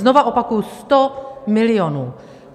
Znovu opakuji - 100 milionů.